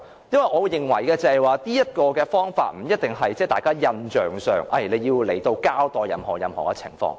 因為，我會認為這方法不一定是印象上，認為署長要來到交代任何情況。